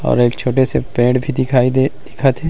और एक छोटे से पेड़ भी दिखइ देत दिखत हे।